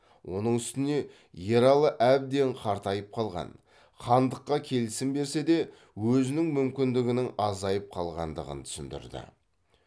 оның устіңе ералы әбден қартайып қалған хандыққа келісім берсе де өзінің мүмкіндігінің азайып қалғандығын түсіндірді